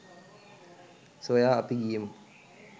සොයා අපි ගියෙමු